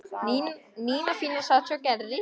Nína fína sat hjá Gerði.